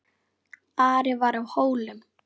Ari var á Hólum.